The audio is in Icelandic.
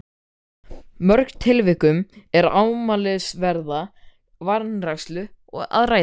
mörgum tilvikum er um ámælisverða vanrækslu að ræða.